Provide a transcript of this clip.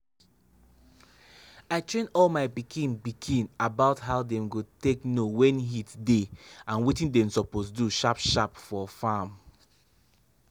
i train all my pikin pikin about how dem go take know when heat dey and wetin dem suppose do sharp sharp for farm.